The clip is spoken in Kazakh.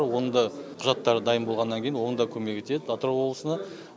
оның да құжаттары дайын болғаннан кейін оның да көмегі тиеді атырау облысына